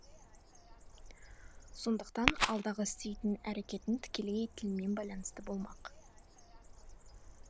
сондықтан алдағы істейтін әрекетін тікелей тілмен байланысты болмақ